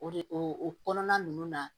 O de o o kɔnɔna nunnu na